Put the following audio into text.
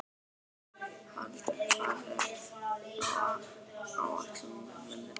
Haraldur, hvað er á áætluninni minni í dag?